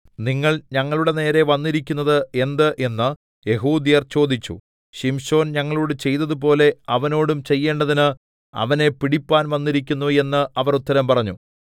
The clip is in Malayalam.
നിങ്ങൾ ഞങ്ങളുടെ നേരെ വന്നിരിക്കുന്നത് എന്ത് എന്ന് യെഹൂദ്യർ ചോദിച്ചു ശിംശോൻ ഞങ്ങളോട് ചെയ്തതുപോലെ അവനോടും ചെയ്യേണ്ടതിന് അവനെ പിടിപ്പാൻ വന്നിരിക്കുന്നു എന്ന് അവർ ഉത്തരം പറഞ്ഞു